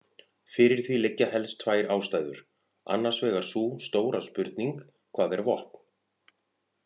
Fyrir því liggja helst tvær ástæður, annars vegar sú stóra spurning: hvað er vopn?